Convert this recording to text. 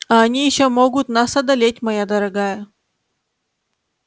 а они ещё могут нас одолеть моя дорогая